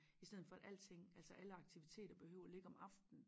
I steden for at alting altså alle aktiviteter behøver at ligge om aftenen